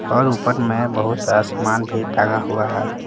और ऊपर में बहुत सारा सामान भी टंगा हुआ है।